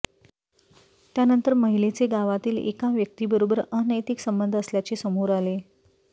त्यानंतर महिलेचे गावातील एका व्यक्तीबरोबर अनैतिक संबंध असल्याचे समोर आले